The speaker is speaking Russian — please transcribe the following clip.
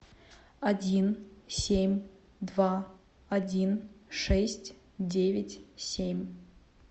один семь два один шесть девять семь